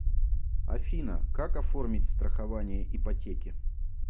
афина как оформить страхование ипотеки